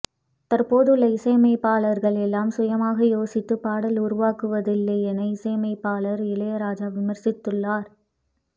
தற்போதுள்ள இசையமைப்பாளர்கள் எல்லாம் சுயமாக யோசித்து பாடல் உருவாக்குவதில்லை என இசையமைப்பாளர் இளையராஜா விமர்சித்துள்ளார்